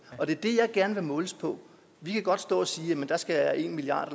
og det er det jeg gerne vil måles på vi kan godt stå og sige jamen der skal en milliard